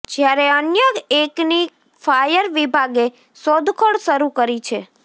જ્યારે અન્ય એકની ફાયર વિભાગે શોધખોળ શરૂ કરી છે